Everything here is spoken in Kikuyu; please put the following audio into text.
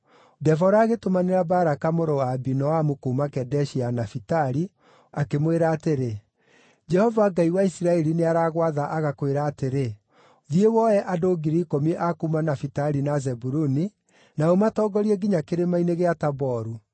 Debora agĩtũmanĩra Baraka mũrũ wa Abinoamu kuuma Kedeshi ya Nafitali, akĩmwĩra atĩrĩ, “Jehova Ngai wa Isiraeli nĩaragwatha agakwĩra atĩrĩ, ‘Thiĩ, woe andũ 10,000 a kuuma Nafitali na Zebuluni, na ũmatongorie nginya Kĩrĩma-inĩ kĩa Taboru.